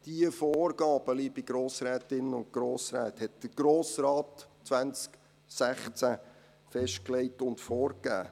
Diese Vorgaben, liebe Grossrätinnen und Grossräte, hat der Grosse Rat 2016 festgelegt und vorgegeben.